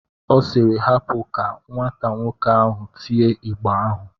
Ọ siiri, hapa ka nwata nwoke ahụ tie ịgba ahụ!